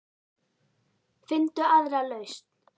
Finndu aðra lausn.